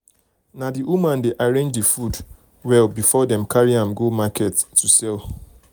na the women dey arrange the food the food well before dem carry am go market sell.